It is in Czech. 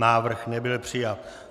Návrh nebyl přijat.